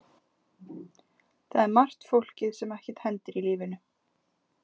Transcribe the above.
Það er margt fólkið sem ekkert hendir í lífinu.